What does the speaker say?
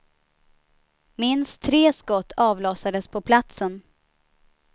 Minst tre skott avlossades på platsen.